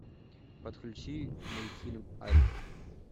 подключи мультфильм альф